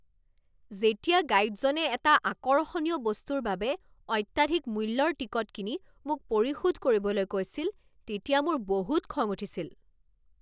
যেতিয়া গাইডজনে এটা আকৰ্ষণীয় বস্তুৰ বাবে অত্যাধিক মূল্যৰ টিকট কিনি মোক পৰিশোধ কৰিবলৈ কৈছিল তেতিয়া মোৰ বহুত খং উঠিছিল।